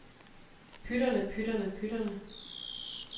pytterne pytterne pytterne